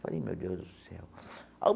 Falei, meu Deus do céu!